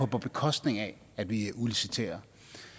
på bekostning af at vi udliciterer